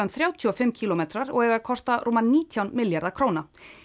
þrjátíu og fimm kílómetrar og kosta rúma nítján milljarða króna